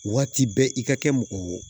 Waati bɛɛ i ka kɛ mɔgɔ